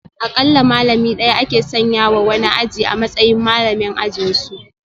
Akalla malami daya ake sanya wa wani aji a matsayin malamin ajinsu